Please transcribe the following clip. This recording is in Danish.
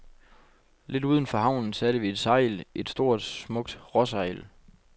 Lidt uden for havnen satte vi sejl, et stort, smukt råsejl.